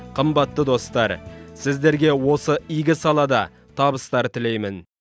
қымбатты достар сіздерге осы игі салада табыстар тілеймін